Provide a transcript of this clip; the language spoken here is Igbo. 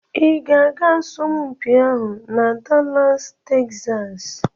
Ị ga-aga asọmpi ahụ na Dallas Texas?